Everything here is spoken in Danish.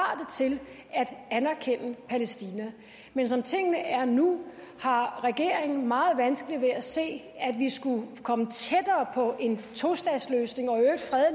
er at anerkende palæstina men som tingene er nu har regeringen meget vanskeligt ved at se at vi skulle komme tættere på en tostatsløsning og